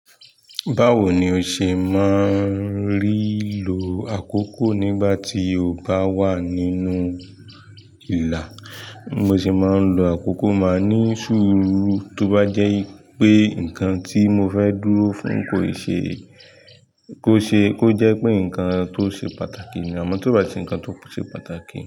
Báwo ni ó ṣe máa ń rí lò àkókò nígbà tí o bá wà nínú ìla? Mo sì máa ń lo àkókò máa ní sùrù tó bá jẹ́ wipé nkan tí mo fẹ́ dúró fún kò ṣe, kó ṣe, kó jẹ́ pé nkan tó ṣe pàtàkì nì. Àmọ́ tó bá ti o se nkan tó ṣe pàtàkì.